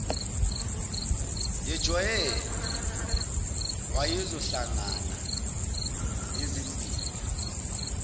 yejwayele wayezohlangana nezimbila